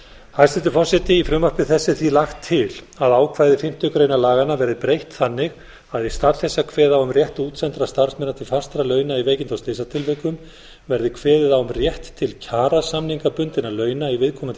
hæstvirtur forseti í frumvarpi þessu er því lagt til að ákvæði fimmtu grein laganna verði breytt þannig að í stað þess að kveða á um rétt útsendra starfsmanna til fastra launa í veikinda og slysatilvikum verði kveðið á um rétt til kjarasamningsbundinna launa í viðkomandi